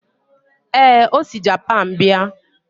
ee, o si Japan bịa